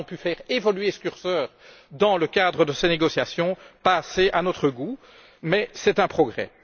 Nous avons pu faire évoluer ce curseur dans le cadre de ces négociations pas assez à notre goût, mais c'est un progrès.